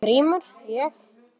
GRÍMUR: Ég?